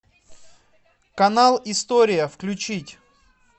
канал история включить